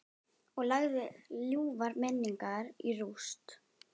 Og lagði ljúfar minningar í rúst.